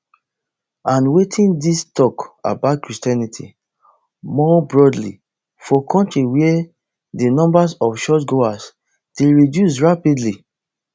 and wetin dis tok about christianity more broadly for kontri where di numbers of churchgoers dey reduce rapidly